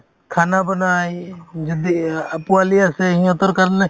khana বনাই যদি অ পোৱালি আছে সিহঁতৰ কাৰণে